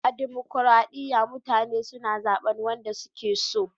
A dimokuradiyya mutane na zaben wanda su ke so